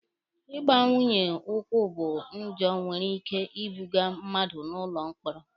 Ịgba nwunye ụkwụ bụ njọ nwere ike ibuga mmadụ n'ụlọ mkpọrọ.